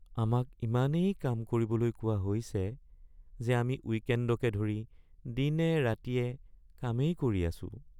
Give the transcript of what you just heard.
আমাক ইমানেই কাম কৰিবলৈ কোৱা হৈছে যে আমি উইকেণ্ডকে ধৰি দিনে-ৰাতিয়ে কামেই কৰি আছোঁ (প্ৰফেশ্যনেল)